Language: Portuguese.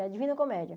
É a Divina Comédia.